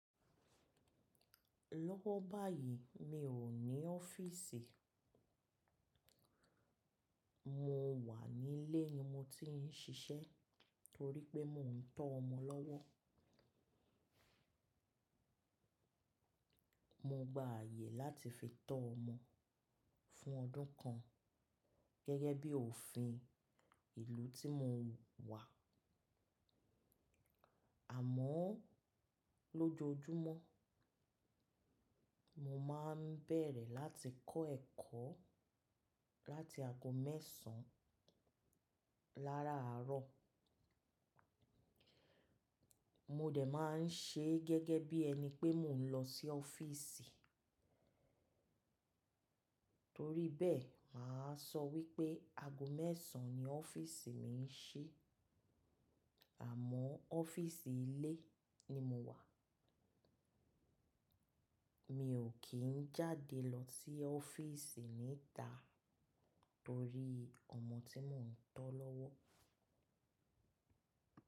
Lọ́wọ́ báyìí mi ò ní ọ́fíìsì. Mo wà nílé ni mo ti ń ṣiṣẹ́ torí pé mò ń tọ́ ọmọ lọ́wọ́. Mo gba ààyè láti fi tọ́ ọmọ fún ọdún kan gẹ́gẹ́ bí òfin ìlú tí mo wà. Àmọ́ lójoojúmọ́, mo máa ń bẹ̀rẹ̀ láti kọ́ ẹ̀kọ́ láti ago mẹ́sàn-án láràárọ̀. Mo dẹ̀ máa ń ṣe gẹ́gẹ́ bí ẹni pé mò ń lọ sí ọ́fíìsì. Torí bẹ́ẹ̀, mà á sọ wípé ago mẹ́sàn-án ni ọ́fíìsì mi ń ṣí, àmọ́ ọ́fíìsì ilé ni mo wà. Mi ò kí ń jáde lọ sí ọ́fíìsì níta torí ọmọ tí mò ń tọ́ lọ́wọ́.